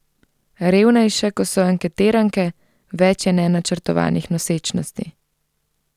Revnejše ko so anketiranke, več je nenačrtovanih nosečnosti.